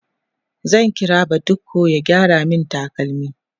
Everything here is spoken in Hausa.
zan kira badiko ya gyara min takalmi